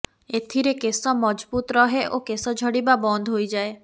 ଏଥିରେ କଶ ମଜଭୁତ ରହେ ଓ କେଶ ଝଡିବା ବନ୍ଦ ହୋଇଯାଏ